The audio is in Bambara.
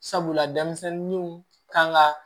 Sabula denmisɛnninw kan ga